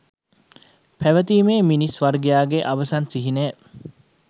පැවතීමේ මිනිස් වර්ගයාගේ අවසන් සිහිනය